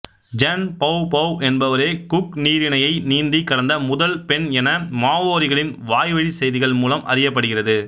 ஐன் Poupou என்பவரே Cook நீரிணையை நீந்திக் கடந்த முதல் பெண என மாவோரிகளின் வாய்வழிச் செய்திகள் மூலம் அறியப்படுகிறது